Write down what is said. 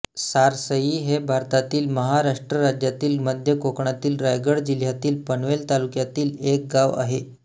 सारसई हे भारतातील महाराष्ट्र राज्यातील मध्य कोकणातील रायगड जिल्ह्यातील पनवेल तालुक्यातील एक गाव आहे